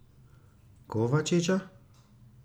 Kovačiča?